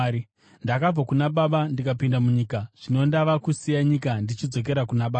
Ndakabva kuna Baba ndikapinda munyika; zvino ndava kusiya nyika ndichidzokera kuna Baba.”